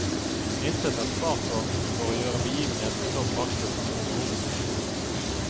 Intet er spart på for å gjøre begivenheten så praktfull som overhodet mulig.